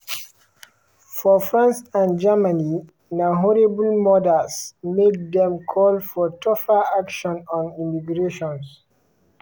for france and germany na horrible murders make dem call for tougher action on immigration.